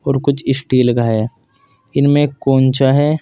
और कुछ स्टील का है इनमें कोंचा है।